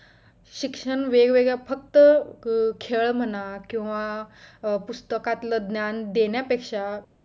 शिक्षण वेगवेगळ्या फक्त खेळ म्हणा किंवा पुस्तकातल्या ज्ञान देण्यापेक्षा